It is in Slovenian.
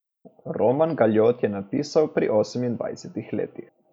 Roman Galjot je napisal pri osemindvajsetih letih.